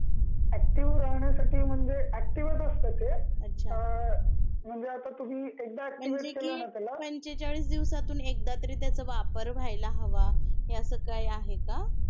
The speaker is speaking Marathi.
ऍक्टिव्ह राहण्या साठी म्हणजे ऍसिटिव्हच असत ते, म्हणजे आता तुम्ही एकदा